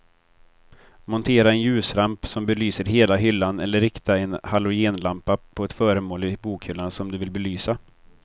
Montera en ljusramp som belyser hela hyllan eller rikta en halogenlampa på ett föremål i bokhyllan som du vill belysa.